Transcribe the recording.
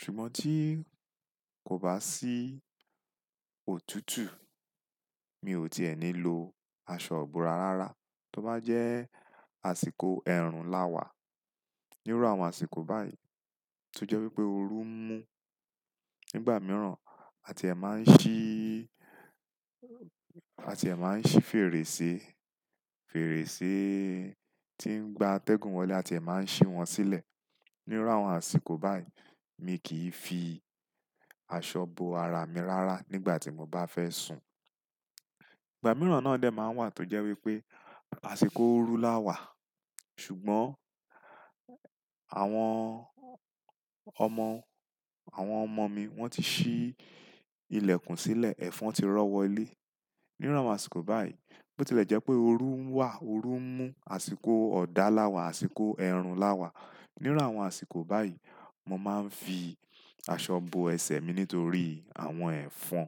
Ṣùgbọ́n tí kò bá sí òtútù, mi ò tí è ní lo aṣọ bo ara rárá. Tí ó bá jẹ́ àsìkò ẹ̀rùn lá wà, nírú àwọn àsìkò báyìí, tó jẹ́ wípé oru ń mú. Nígbà mìíràn, a ti è máa ń ṣí, a ti è máa ń ṣí fèrèsé. Fèrèsé tí ń gba atẹ́gùn wọlé, a ti è máa ń ṣí wọ́n sílẹ̀. Nírú àwọn àsìkò báyìí, mi kì í fi aṣọ bo ara mi rárá nígbà tí mo bá fẹ́ sùn. Ìgbà mìíràn náà lè máa wà tó jẹ́ wípé àsìkò oru lá wà. Ṣùgbọ́n àwọn ọmọ, àwọn ọmọ mi wọ́n ti ṣí ilẹ̀kùn sílẹ̀, ẹ́fọn ti rọ́wọ́ ilé. Nírú àwọn àsìkò báyìí, bó tí lè jẹ́ pé oru ń wà, oru ń mú, àsìkò ọ̀dà lá wà, àsìkò ẹ̀rùn lá wà. Nírú àwọn àsìkò báyìí, mo máa ń fi, aṣọ bo ẹsẹ̀ mi nítorí àwọn ẹ̀fọn.